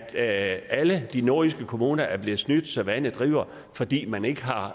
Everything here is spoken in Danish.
at alle de nordjyske kommuner er blevet snydt så vandet driver fordi man ikke har